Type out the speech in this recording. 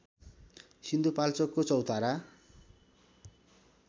सिन्धुपाल्चोकको चौतारा